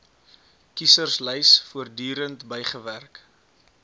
kieserslys voortdurend bygewerk